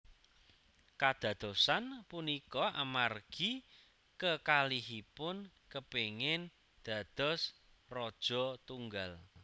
Kadadosan punika amargi kekalihipun kepingin dados raja tunggal